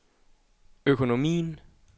økonomien